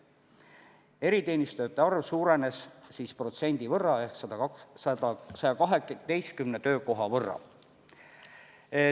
Eriteenistujate arv suurenes siis protsendi võrra ehk 112 töökoha võrra.